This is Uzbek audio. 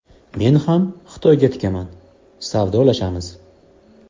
Men ham Xitoyga tikaman, savdolashamiz.